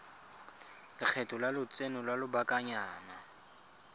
lekgetho la lotseno lwa lobakanyana